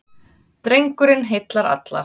Drengurinn heillar alla.